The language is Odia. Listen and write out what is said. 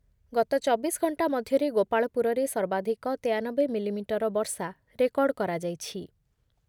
ଗତ ଚବିଶ ଘଣ୍ଟା ମଧ୍ୟରେ ଗୋପାଳପୁରରେ ସର୍ବାଧିକ ତେୟାନବେ ମିଲିମିଟର ବର୍ଷା ରେକର୍ଡ଼୍ କରାଯାଇଛି